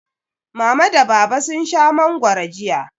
Mama da Baba sun sha mangwaro jiya.